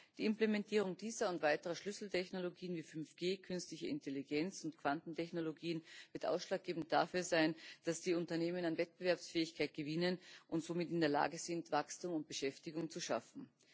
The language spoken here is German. Die Implementierung dieser und weiterer Schlüsseltechnologien wie 5G, künstliche Intelligenz und Quantentechnologien wird ausschlaggebend dafür sein, dass die Unternehmen an Wettbewerbsfähigkeit gewinnen und somit in der Lage sind, Wachstum und Beschäftigung zu schaffen.